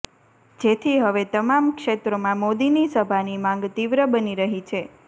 જેથી હવે તમામ ક્ષેત્રોમાં મોદીની સભાની માંગ તીવ્ર બની રહી છે